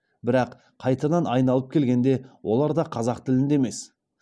бірақ қайтадан айналып келгенде олар да қазақ тілінде емес